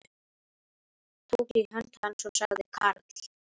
Tók í hönd hans og sagði Karl